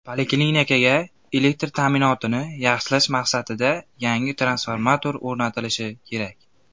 Poliklinikaga elektr ta’minotini yaxshilash maqsadida yangi transformator o‘rnatilishi kerak.